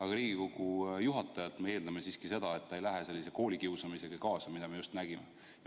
Aga Riigikogu juhatajalt me eeldame siiski seda, et ta ei lähe kaasa sellise koolikiusamisega, mida me just nägime.